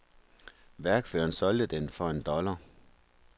Værkføreren solgte den for en dollar.